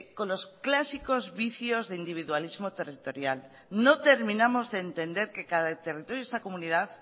con los clásicos vicios de individualismo territorial no terminamos de entender que cada territorio de esta comunidad